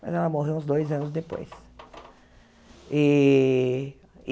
Mas ela morreu uns dois anos depois. E e